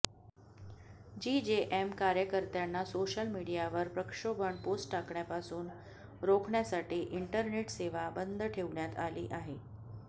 GJM कार्यकर्त्यांना social मीडियावर प्रक्षोभक पोस्ट टाकण्यापासून रोखण्यासाठी इंटरनेट सेवा बंद ठेवण्यात आली आहे